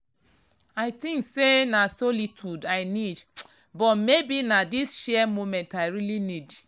i think say na solitude i need but maybe na this shared moment i really need.